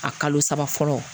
A kalo saba fɔlɔ